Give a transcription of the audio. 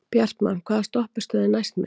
Bjartmann, hvaða stoppistöð er næst mér?